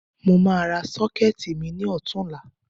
Mo máa ra Ṣọ́kẹ́ẹ̀tì mi ní ọ̀tunla